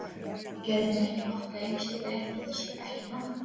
Ég gerði mér ekki nokkra einustu grein fyrir þessu, ekki nokkra!